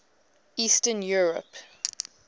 eastern europe